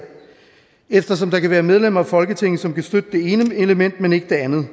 eftersom der kan være medlemmer af folketinget som kan støtte det ene element men ikke det andet